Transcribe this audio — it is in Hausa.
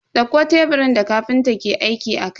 Dauko teburin da kafintan ke aiki akai.